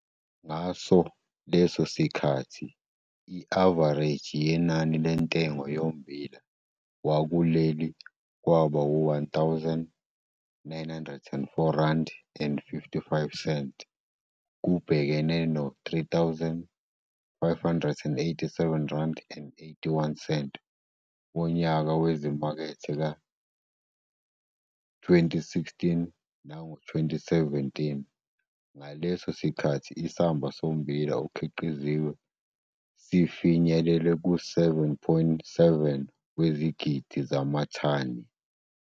Ngaso leso sikhathi, i-avareji yenani lentengo yommbila wakuleli kwaba u-R1 904, 55 kubhekene no-R3 587,81 wonyaka wezimakethe ka-2016 noma 2017, ngaleso sikhathi isamba sommbila okhiqiziwe sifinyelele ku-7,7 wezigidi zamathani.